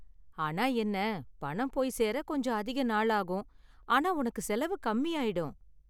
ஆனா என்ன, பணம் போய் சேர கொஞ்சம் அதிக நாளாகும், ஆனா உனக்கு செலவு கம்மியாயிடும்.